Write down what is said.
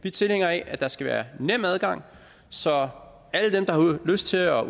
er tilhængere af at der skal være nem adgang så alle dem der har lyst til at